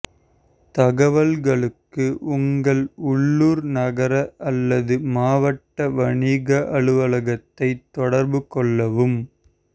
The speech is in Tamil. தகவல்களுக்கு உங்கள் உள்ளூர் நகர அல்லது மாவட்ட வணிக அலுவலகத்தை தொடர்பு கொள்ளவும்